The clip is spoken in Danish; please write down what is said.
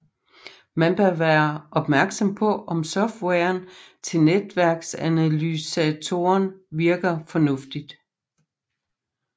Man bør være opmærksom på om softwaren til netværksanalysatoren virker fornuftigt